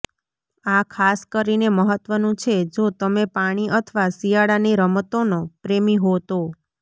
આ ખાસ કરીને મહત્વનું છે જો તમે પાણી અથવા શિયાળાની રમતોનો પ્રેમી હો તો